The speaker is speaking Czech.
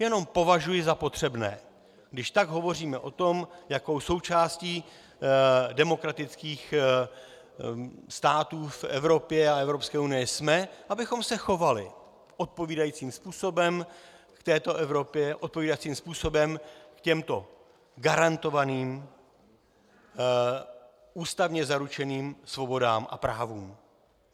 Jenom považuji za potřebné, když tak hovoříme o tom, jakou součástí demokratických států v Evropě a Evropské unii jsme, abychom se chovali odpovídajícím způsobem v této Evropě, odpovídajícím způsobem k těmto garantovaným, ústavně zaručeným svobodám a právům.